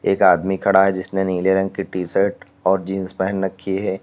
एक आदमी खड़ा है जिसने नीले रंग की टीशर्ट और जींस पहन रखी है।